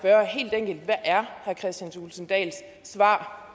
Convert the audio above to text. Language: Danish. jeg er herre kristian thulesen dahls svar